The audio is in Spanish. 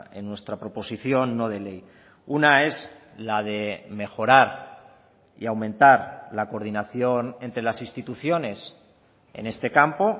en nuestra proposición no de ley una es la de mejorar y aumentar la coordinación entre las instituciones en este campo